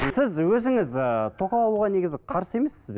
сіз өзіңіз ыыы тоқал алуға негізі қарсы емессіз бе